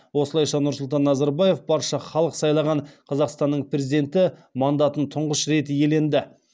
осылайша нұрсұлтан назарбаев барша халық сайлаған қазақстанның президенті мандатын тұңғыш рет иеленді